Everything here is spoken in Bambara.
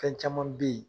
Fɛn caman be yen